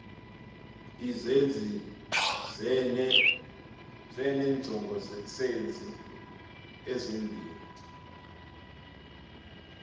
izenzi ezineenjongosenzi ezimbini